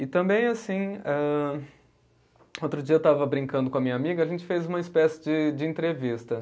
E também, assim, âh outro dia eu estava brincando com a minha amiga, a gente fez uma espécie de de entrevista.